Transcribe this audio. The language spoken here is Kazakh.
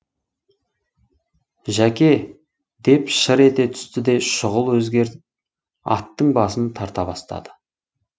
жәке деп шыр ете түсті де шұғыл өзгеріп аттың басын тарта бастады